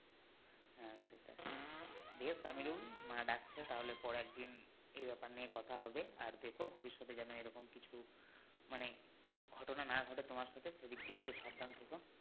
বেশ আমিরুল মা ডাকছে তাহলে পরে একদিন এই ব্যাপার নিয়ে কথা হবে আর দেখো ভবিষ্যৎে যেন এরকম কিছু মানে ঘটনা না ঘটে তোমার সাথে সেদিক দিয়ে একটু সাবধানে থেকো